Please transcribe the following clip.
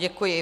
Děkuji.